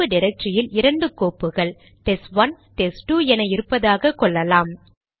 நடப்பு டிரக்டரியில் இரண்டு கோப்புகள் டெஸ்ட்1 டெஸ்ட்2 என இருப்பதாக கொள்ளலாம்